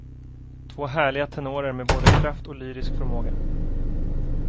Två härliga tenorer med både kraft och lyrisk förmåga.